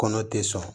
Kɔnɔ te sɔn